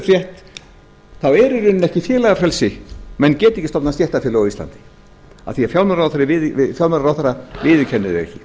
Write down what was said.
er í rauninni ekki félagafrelsi menn geta ekki stofnað stéttarfélög á íslandi af því að fjármálaráðherra viðurkennir